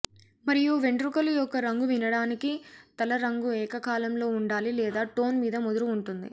మరియు వెంట్రుకలు యొక్క రంగు వినడానికి తల రంగు ఏకకాలంలో ఉండాలి లేదా టోన్ మీద ముదురు ఉంటుంది